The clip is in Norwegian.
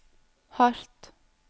hardt